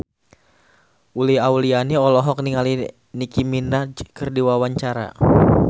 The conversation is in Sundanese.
Uli Auliani olohok ningali Nicky Minaj keur diwawancara